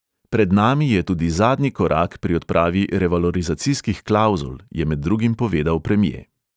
Pred nami je tudi zadnji korak pri odpravi revalorizacijskih klavzul, je med drugim povedal premje.